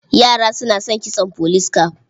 Yara suna son kitson police cap.